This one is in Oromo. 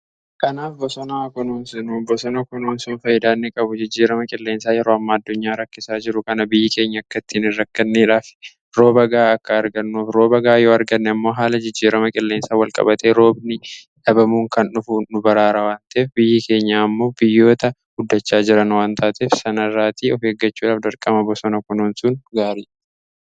Kanaaf bosona haa kunuunsinu! Bosona kunuunsuun faayidaa inni qabu jijjiirama qilleensaa yeroo amma addunyaa rakkisaa jiru kana biyyi keenya akkattiin rakkanneedhaaf rooba ga'aa akka argannuuf rooba ga'aa yoo arganne immoo haala jijjiirama qilleensaan walqabatee roobni dhabamuun kan dhufu nu baraara waan ta'eef biyyi keenya ammoo biyyoota guddachaa jiran waan taateef sana irraatii of eeggachuudhaaf dirqama bosona kunuunsuun gaariidha.